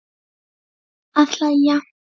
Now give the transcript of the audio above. Að hlæja.